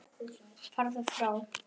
Farðu frá!